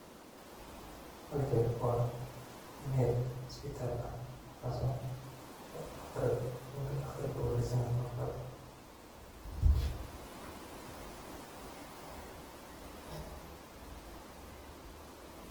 La-talintu waa hannaan xiriir qoto dheer leh oo u dhexeeya la-taliye si gaar ah u tababaran iyo qof la-talin u baahan, kaas oo lagu dhiirrigeliyo in uu si nabdoon oo kalsooni leh ugu muujiyo dareenkiisa, fikirkiisa, welwelkiisa, iyo dhibaatooyinka uu la tacaalayo si loo gaaro faham qoto dheer, xal waara.